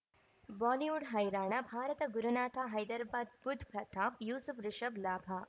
Bollywood ಹೈರಾಣ ಭಾರತ ಗುರುನಾಥ ಹೈದರಾಬಾದ್ ಬುಧ್ ಪ್ರತಾಪ್ ಯೂಸುಫ್ ರಿಷಬ್ ಲಾಭ